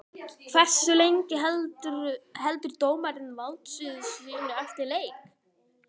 Hversu lengi heldur dómari valdsviði sínu eftir leik?